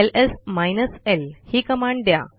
LS minus L ही command द्या